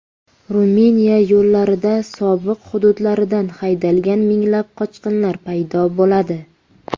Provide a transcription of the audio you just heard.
Ruminiya yo‘llarida sobiq hududlaridan haydalgan minglab qochqinlar paydo bo‘ladi.